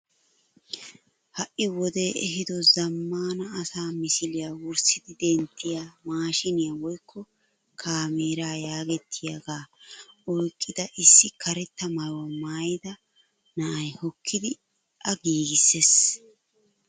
Ha'i wodee ehido zammaana asaa misiliyaa wurssidi denttiyaa maashiniyaa woykko kaameraa yagettiyaagaa oyqqida issi karetta mayuwaa maayida na'ay hokkidi a giissees.